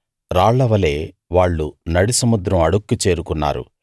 రాళ్లవలె వాళ్ళు నడి సముద్రం అడుక్కి చేరుకున్నారు